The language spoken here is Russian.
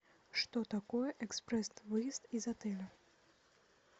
что такое экспресс выезд из отеля